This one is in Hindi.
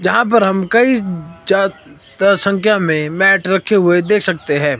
जहां पर हम कई ज्या तर संख्या में मैट रखे हुए देख सकते है।